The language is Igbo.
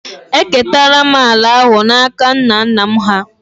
Eketara m ala ahụ n’aka nna nna m hà